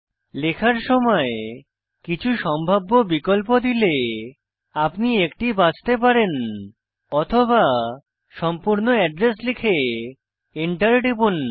লেখার সময় কিছু সম্ভাব্য বিকল্প দিলে আপনি একটি বাছতে পারেন অথবা সম্পূর্ণ এড্রেস লিখে Enter টিপুন